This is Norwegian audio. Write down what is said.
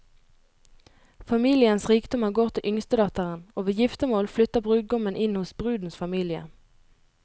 Familiens rikdommer går til yngstedatteren, og ved giftermål flytter brudgommen inn hos brudens familie.